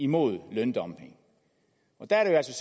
mod løndumping og der er